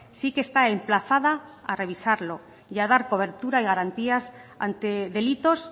sí que está emplazada a revisarlo y a dar cobertura y garantías ante delitos